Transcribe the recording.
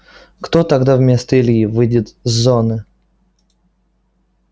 кто тогда вместо ильи выйдет с зоны